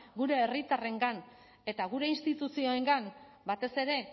gure herritarrengan eta gure instituzioengan batez ere